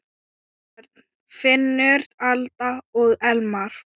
Börn: Finnur, Alda og Elmar.